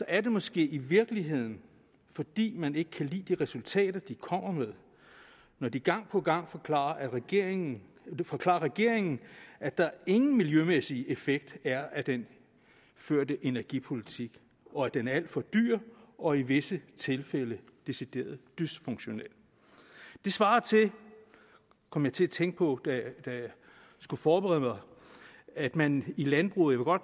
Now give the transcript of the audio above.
er det måske i virkeligheden fordi man ikke kan lide de resultater de kommer med når de gang på gang forklarer regeringen forklarer regeringen at der ingen miljømæssig effekt er af den førte energipolitik og at den er alt for dyr og i visse tilfælde decideret dysfunktionel det svarer til kom jeg til at tænke på da jeg skulle forberede mig at man i landbruget og